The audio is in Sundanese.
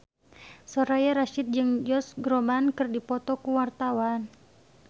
Soraya Rasyid jeung Josh Groban keur dipoto ku wartawan